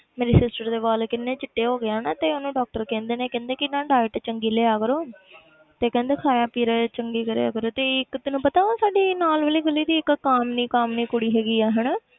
ਮੇਰੀ sister ਦੇ ਵਾਲ ਕਿੰਨੇ ਚਿੱਟੇ ਹੋ ਗਿਆ ਨਾ ਤੇ ਉਹਨੂੰ doctor ਕਹਿੰਦੇ ਨੇ ਕਹਿੰਦੇ ਕਿ ਨਾ diet ਚੰਗੀ ਲਿਆ ਕਰੋ ਤੇ ਕਹਿੰਦੇ ਖਾਇਆ ਪੀਆ ਚੰਗੀ ਕਰਿਆ ਕਰੋ, ਤੇ ਇੱਕ ਤੈਨੂੰ ਪਤਾ ਉਹ ਸਾਡੀ ਨਾਲ ਵਾਲੀ ਗਲ਼ੀ ਦੀ ਇੱਕ ਕਾਮਨੀ ਕਾਮਨੀ ਕੁੜੀ ਹੈਗਾ ਹੈ ਹਨਾ